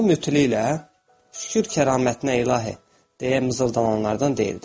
O mütli ilə, şükür kəramətinə ilahi deyə mızıldananlardan deyildi.